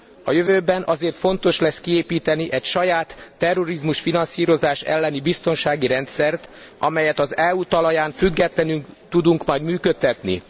A jövőben azért fontos lesz kiépíteni egy saját terrorizmusfinanszírozás elleni biztonsági rendszert, amelyet az EU talaján, függetlenül tudunk majd működtetni.